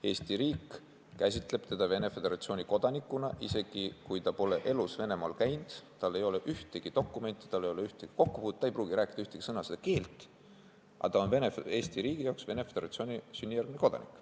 Eesti riik käsitleb teda Venemaa Föderatsiooni kodanikuna isegi siis, kui ta pole elu sees Venemaal käinud, tal ei ole ühtegi dokumenti, tal ei ole selle riigiga ühtegi kokkupuudet, ta ei pruugi rääkida ühtegi sõna seda keelt – Eesti riigi jaoks on ta ikka sünnijärgne Venemaa Föderatsiooni kodanik.